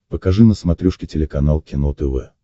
покажи на смотрешке телеканал кино тв